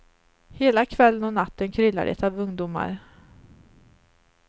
Hela kvällen och natten kryllar det av ungdomar.